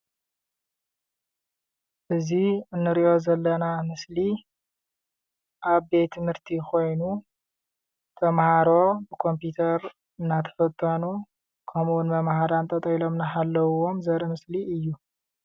እዚ እንሪኦ ዘለና ምስሊ አብ ቤት ትምህርቲ ኮይኑ ተመሃሮ ኮምፒተር እናተፈተኑ ከምኡ እውን መምሃራን ጠጠው ኢሎም እናሓለውዎም ዘርኢ ምስሊ እዩ ።